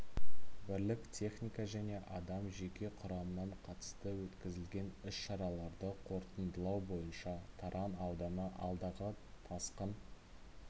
бірлік техника және адам жеке құрамнан қатысты өткізілген іс-шараларды қорытындылау бойынша таран ауданы алдағы тасқын